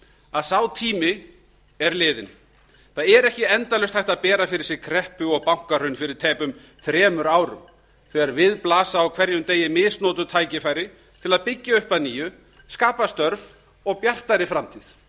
að sá tími er liðinn það er ekki endalaust hægt að bera fyrir sig kreppu og bankahrun fyrir tæpum þremur árum þegar við blasa á hverjum degi misnotuð tækifæri til að byggja upp að nýju skapa störf og bjartari framtíð